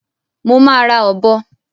Mo má ra òbo